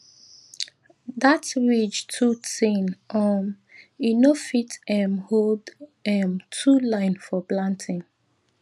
dat ridge too thin um e no fit um hold um two line for planting